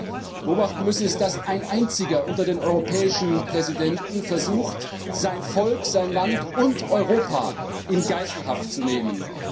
Was wir beobachten müssen, ist, dass ein Einzelner unter den europäischen Präsidenten versucht, sein Volk, sein Land und ganz Europa in Geiselhaft zu nehmen.